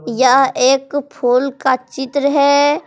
यह एक फूल का चित्र है।